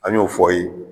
An y'o fɔ ye